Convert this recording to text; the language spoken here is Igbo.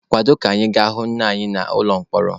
Kwado ka anyị ga-ahụ nna anyị n'ụlọ mkpọrọ.